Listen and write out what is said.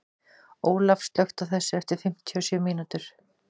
Olaf, slökktu á þessu eftir fimmtíu og sjö mínútur.